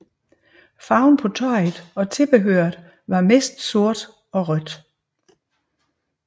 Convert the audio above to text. Farven på tøjet og tilbehøret er mest sort og rødt